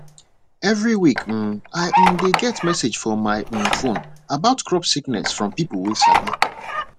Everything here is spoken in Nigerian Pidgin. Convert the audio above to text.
every week um i um dey get message for my um phone about crop sickness from peopleway sabi